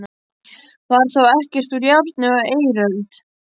Var þá ekkert úr járni á eiröld?